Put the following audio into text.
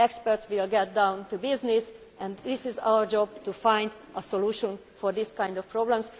Experts will get down to business and it is our job to find a solution to this kind of problem.